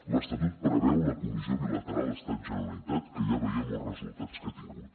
l’estatut preveu la comissió bilateral estat generalitat que ja veiem els resultats que ha tingut